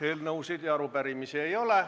Eelnõusid ja arupärimisi ei ole.